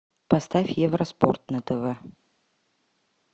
поставь евроспорт на тв